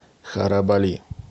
харабали